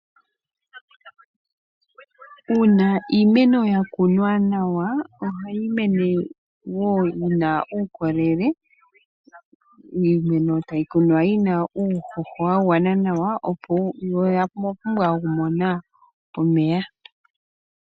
Uuna iimeno ya kunwa nawa ohayi mene wo yi na uukolele. Iimeno tayi kunwa yi na uuhoho wa gwana nawa yo oya pumbwa okumona omeya.